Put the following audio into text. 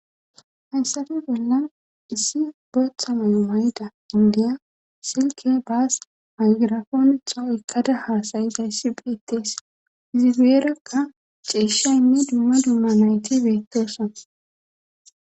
hayssappe bollan issi botha mayo mayda indiya silke baas hagirafoonexa ekkada haasayizayssi phitees izibeerakka ceeshaynne dumma dumma nayti beettosona